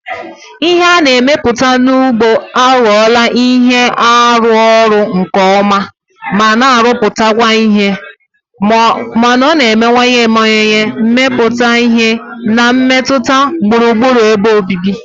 Ihe a na-emepụta n'ugbo aghọwo ihe na-arụ ọrụ nke ọma ma na-arụpụta ihe, ma ọ na-emewanyewanye mmepụta ihe na mmetụta gburugburu ebe obibi.